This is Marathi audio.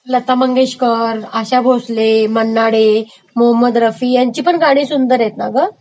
लता मंगेशकर, आशा भोसले, मन्ना डे, मोहम्मद रफी, यांचीपण गाणी सुंदर आहेत ना ग